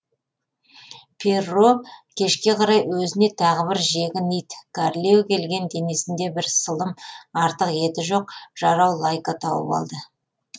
перро кешке қарай өзіне тағы бір жегін ит кәрілеу келген денесінде бір сылым артық еті жоқ жарау лайка тауып алды